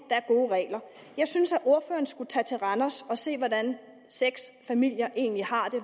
er gode regler jeg synes at ordføreren skulle tage til randers og se hvordan seks familier egentlig har det